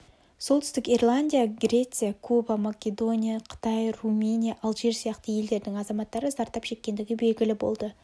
солтүстік ирландия греция куба македония қытай румыния алжир сияқты елдердің азаматтары зардап шеккендігі белгілі болды